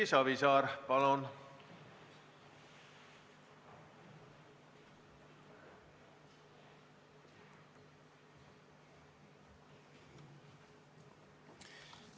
Erki Savisaar, palun!